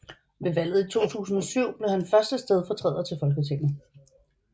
Ved valget i 2007 blev han første stedfortræder til Folketinget